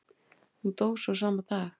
Hún dó svo sama dag.